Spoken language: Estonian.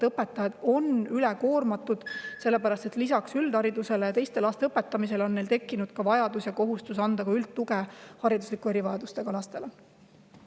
Õpetajad on üle koormatud, sellepärast et lisaks üldhariduse andmisele ja teiste laste õpetamisele on neil tekkinud ka vajadus ja kohustus pakkuda üldtuge hariduslike erivajadustega lastele.